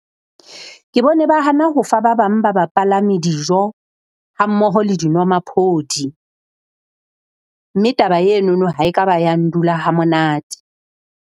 Ke bone ba hana ho fa ba bang ba bapalami dijo ha mmoho le dinwamaphodi, mme taba enono ha ekaba ya ndula ha monate.